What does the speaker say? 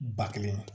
Ba kelen